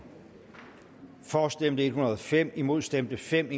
for stemte en hundrede og fem imod stemte fem